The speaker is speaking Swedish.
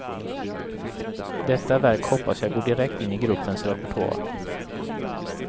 Detta verk hoppas jag går direkt in i gruppens repertoar.